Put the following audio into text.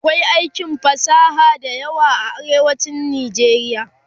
akwai aikin fasaha da yawa a arewacin nijeriya